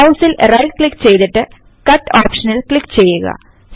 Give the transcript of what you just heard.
മൌസിൽ right click ചെയ്തിട്ട് Cutഓപ്ഷനിൽ click ചെയ്യുക